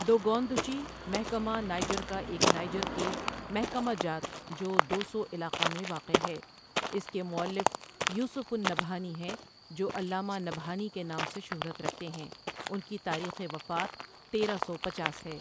Dogondoutchi محکمہ Niger کا ایک نائجر کے محکمہ جات جو دوسو علاقہ میں واقع ہے اس کے مؤلف يوسف النبہانی ہیں جو علامہ نبہانی کے نام سے شہرت رکھتے ہیں ان کی تاریخ وفات تیرہ سوپچاس ھہے ۔